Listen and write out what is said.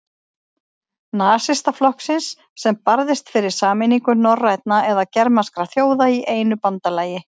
Nasistaflokksins, sem barðist fyrir sameiningu norrænna eða germanskra þjóða í einu bandalagi.